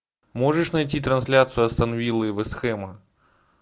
можешь найти трансляцию астон виллы и вест хэма